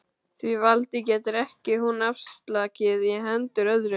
Því valdi getur hún ekki afsalað í hendur öðrum.